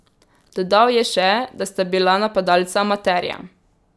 Dodal je še, da sta bila napadalca amaterja.